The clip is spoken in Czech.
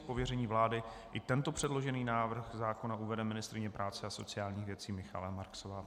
Z pověření vlády i tento předložený návrh zákona uvede ministryně práce a sociálních věcí Michaela Marksová.